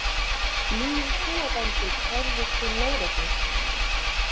Níu kúabændur kærðir til lögreglu